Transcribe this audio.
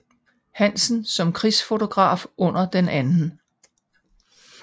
Hansen som krigsfotograf under den 2